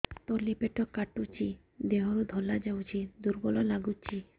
ତଳି ପେଟ କାଟୁଚି ଦେହରୁ ଧଳା ଯାଉଛି ଦୁର୍ବଳ ଲାଗୁଛି